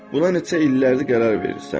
Buna neçə illərdir qərar verirsən.